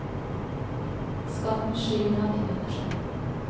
Skatten skyver han inn under seg.